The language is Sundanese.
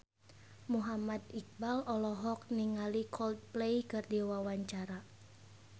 Muhammad Iqbal olohok ningali Coldplay keur diwawancara